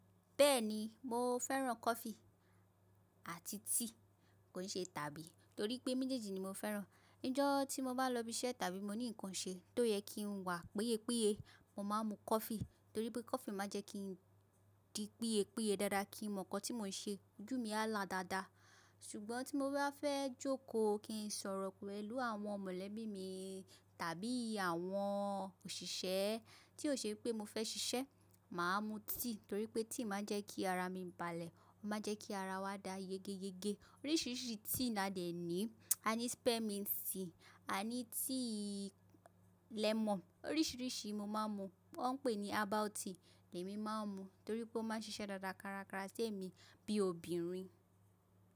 Bẹ́ẹ̀ni mo fẹ́ràn coffee àti tea kòi ṣe tàbí torí pé méjèèjì ni mo fẹ́ràn. Ní ọjọ́ tí mo bá lọ ibi iṣẹ́ tàbí mo ní nǹkan ṣe tó yẹ kí n wà pẹ́yẹ́pẹ́yẹ, mo máa ń mu coffee torí pé coffee máa ń jẹ́ kí n di pẹ́yẹ́pẹ́yẹ dáadáa kí n mọ̀ nǹkan tí mò ń ṣe, ojú mi á lá dáadáa. Ṣùgbọ́n tí mo bá fẹ́ jókòó kí n sọ̀rọ̀ pẹ̀lú àwọn mọ̀lẹ́bí mi tàbí àwọn òṣìṣẹ́ tí ó ṣe pé mo fẹ́ ṣiṣẹ́, màá mu tea torí pé tea máa ń jẹ́ kí ara mi balẹ̀, ó máa ń jẹ́ kí ara wa dá yégéyégé. Oríṣiríṣi tea ni a ní, a ní spearmint tea, a ní tea lemon oríṣiríṣi mo máa ń mu. Wọ́n pè ní herbal tea lèmi máa ń mu torí pé ó máa ń ṣiṣẹ́ dáadáa kárakára sí èmi bí obìnrin.